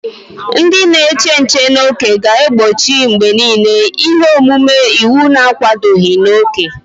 Ndị na-eche nche n'ókè ga-egbochi mgbe niile ihe omume iwu na-akwadoghị na oke.